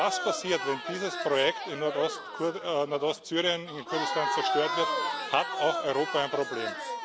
Wenn das passiert, wenn dieses Projekt in Nordostsyrien, in Kurdistan, zerstört wird, hat auch Europa ein Problem.